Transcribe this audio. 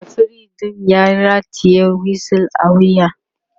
referee ɗin ya rataya wisu a wuya